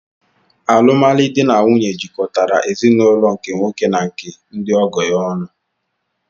Alụmalụ di n'nwunye jikọtara ezinụlọ nke nwoke na nke ndi ọgọ ya ọnụ